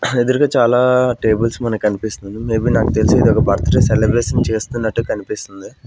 ఎదురుగా చాలా టేబుల్స్ మనకి కనిపిస్తుంది మే బీ నాకు తెలిసి ఇది ఒక బర్త్ డే సెలిబ్రేషన్ చేస్తున్నట్టు కనిపిస్తుంది.